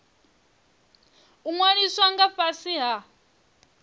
u ṅwaliswa nga fhasi ha